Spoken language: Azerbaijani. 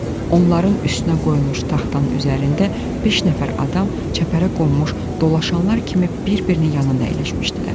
Onların üstünə qoyulmuş taxtanın üzərində beş nəfər adam çəpərə qonmuş dolaşanlar kimi bir-birinin yanında əyləşmişdilər.